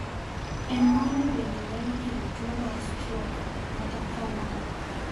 Emboli bende nyalo kelo tuo mar strok kata kongruok.